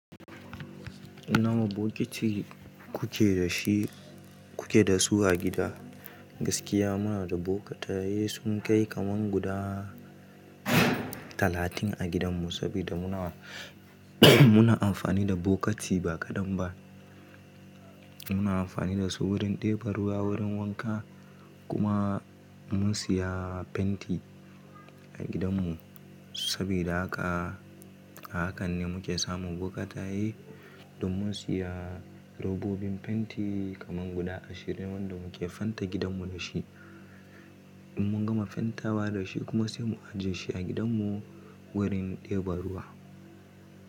Nawa bokiti kuke da shi, kuke da su a gida. Gaskiya muna da bokitaye sun kai kaman guda talatin a gidanmu sabida muna, muna amfani da bokiti ba kadan ba. Muna amfani da su wurin ɗebo ruwa wurin wanka kuma mun siya fenti a gidanmu sabida haka, a hakan ne muke samun bokitaye. Don mun siya robobin fenti kaman guda ashirin wanda muke fente gidanmu da shi. In mun gama fentawa da shi kuma sai mu ajiye shi a gidanmu wurin ɗebo ruwa.